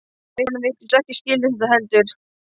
Konan virtist ekkert skilja þetta heldur.